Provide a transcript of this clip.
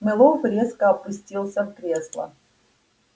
мэллоу резко опустился в кресло